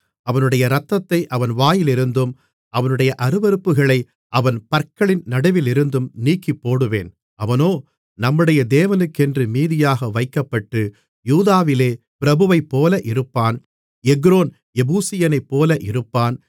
அவனுடைய இரத்தத்தை அவன் வாயிலிருந்தும் அவனுடைய அருவருப்புகளை அவன் பற்களின் நடுவிலிருந்தும் நீக்கிப்போடுவேன் அவனோ நம்முடைய தேவனுக்கென்று மீதியாக வைக்கப்பட்டு யூதாவிலே பிரபுவைப்போல இருப்பான் எக்ரோன் எபூசியனைப்போல இருப்பான்